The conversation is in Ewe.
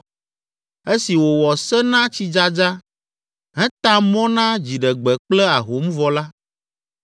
esi wòwɔ se na tsidzadza, heta mɔ na dziɖegbe kple ahom vɔ la,